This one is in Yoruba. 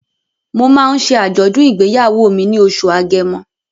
Mo máa ń ṣe àjọ̀dùn ìgbéyàwó mi ní oṣù Agẹmọ.